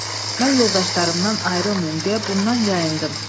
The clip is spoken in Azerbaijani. Mən yoldaşlarımdan ayrılmayım deyə bundan yayındım.